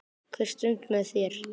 Hver stund með þér.